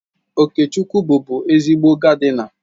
Okechukwu bụbu ezigbo gaadịna.